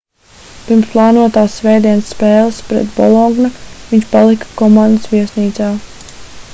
pirms plānotās svētdienas spēles pret ¨bologna¨ viņš palika komandas viesnīcā